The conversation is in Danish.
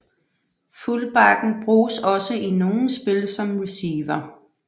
Fullbacken bruges også i nogle spil som receiver